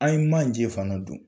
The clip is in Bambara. An ye manje fana don.